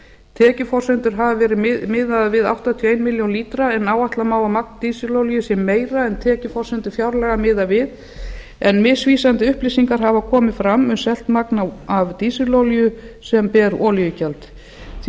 tekjuforsendur hafa verið miðaðar við áttatíu og eina milljón lítra en áætla má að magn dísilolíu sé meira en tekjuforsendur fjárlaga miða við en misvísandi upplýsingar hafa komið fram um selt magn af dísilolíu sem ber olíugjald því